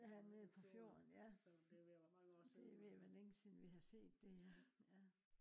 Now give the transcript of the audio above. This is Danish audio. ja nede på fjorden ja. det er ved at være længe siden vi har set det ja